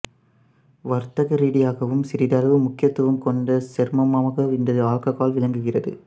வர்த்தகரீதியாகவும் சிறிதளவு முக்கியத்துவம் கொண்ட சேர்மமாக இந்த ஆல்ககால் விளங்குகிறது